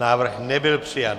Návrh nebyl přijat.